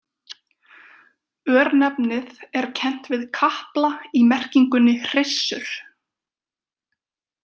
Örnefnið er kennt við kapla í merkingunni hryssur.